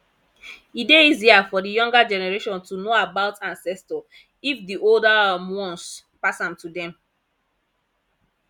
e dey easier for di younger generation to know about ancestor if di older um ones pass am to them